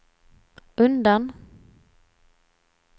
undan